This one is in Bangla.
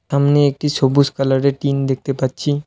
সামনে একটি সবুজ কালারের টিন দেখতে পাচ্ছি।